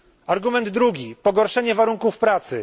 Argument drugi pogorszenie warunków pracy.